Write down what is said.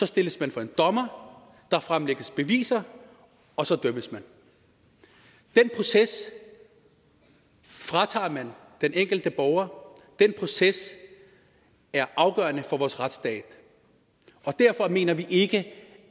stilles man for en dommer der fremlægges beviser og så dømmes man den proces fratager man den enkelte borger den proces er afgørende for vores retsstat derfor mener vi ikke